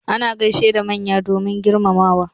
Ana gaishe da manya domin girmamawa.